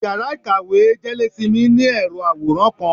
íyará ikáwe jelésímí, ni erò aworán kan.